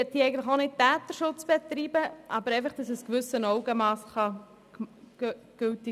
Ich möchte nicht Täterschutz betreiben, sondern ermöglichen, dass ein gewisses Augenmass gilt.